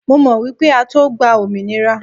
Mo mọ̀ wípé á tó gba òmìnira.